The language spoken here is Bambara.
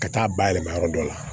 Ka taa bayɛlɛma yɔrɔ dɔ la